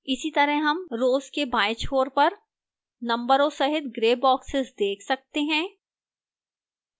इसी तरह हम rows के बाएं छोर पर नंबरों सहित grey boxes देख सकते हैं